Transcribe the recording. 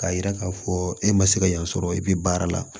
K'a yira k'a fɔ e ma se ka yan sɔrɔ e bi baara la